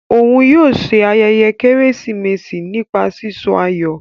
Òún yóò ṣe ayẹyẹ Kérésìmesì nípa sísọ ayọ.